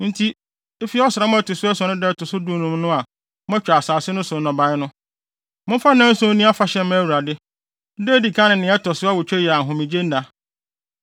“ ‘Enti efi ɔsram a ɛto so ason no da a ɛto so dunum no a moatwa asase no so nnɔbae no, momfa nnanson nni afahyɛ mma Awurade. Da a edi kan ne nea ɛto so awotwe yɛ ahomegyenna.